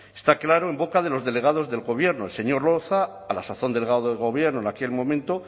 está claro en boca de los delegados del gobierno el señor loza a la sazón delegado del gobierno en aquel momento